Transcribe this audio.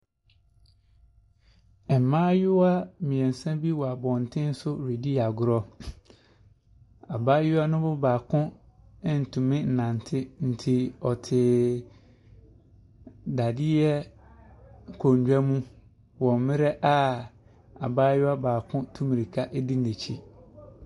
Mmaayewa mmeɛnsa bi wɔ abɔntene so redi agorɔ. Abaayewa no mu baako ntuminnante, nti ɔteeee . Dadeɛ nkonnwa mu wɔ mmerɛ a abaayewa baako retu mmirika adi n'akyi.